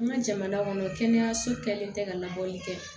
An ka jamana kɔnɔ kɛnɛyaso kɛlen tɛ ka labɔli kɛ